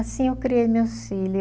Assim eu criei meus filho.